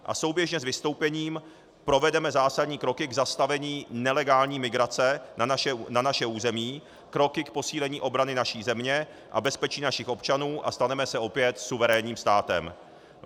A souběžně s vystoupením provedeme zásadní kroky k zastavení nelegální migrace na naše území, kroky k posílení obrany naší země a bezpečí našich občanů a staneme se opět suverénním státem.